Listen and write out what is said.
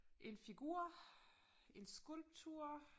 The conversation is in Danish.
En figur en skulptur